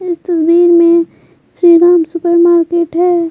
इस तस्वीर में श्रीराम सुपरमार्केट है।